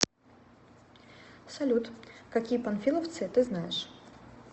салют какие панфиловцы ты знаешь